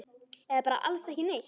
Eða bara alls ekki neitt?